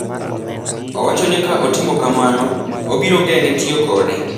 Owacho ni ka otimo kamano, obiro geng’e tiyo kode.